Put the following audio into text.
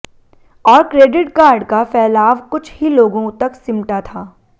और credit card का फ़ैलाव कुछ ही लोगों तक सिमटा था